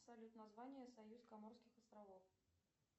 салют название союз каморских островов